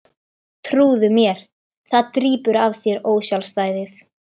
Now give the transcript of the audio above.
Trúðu mér, það drýpur af þér ósjálfstæðið.